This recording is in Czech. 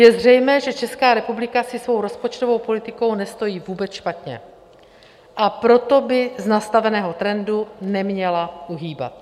Je zřejmé, že Česká republika si svou rozpočtovou politikou nestojí vůbec špatně, a proto by z nastaveného trendu neměla uhýbat.